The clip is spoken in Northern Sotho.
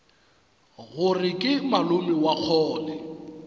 gore ke malome wa kgole